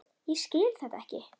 Ég skil þetta ekki.